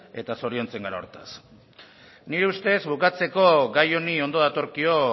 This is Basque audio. eta zoriontzen gara horretaz nire ustez bukatzeko gai honi ondo datorkio